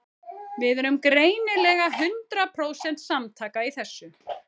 Við erum greinilega hundrað prósent samtaka í þessu.